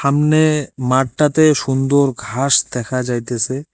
আমনে মাঠটাতে সুন্দর ঘাস দেখা যাইতেসে।